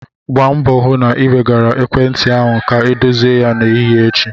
Gbaa mbọ hụ na ị wegara ekwentị ahụ ka edozie ya n'ahịa echi!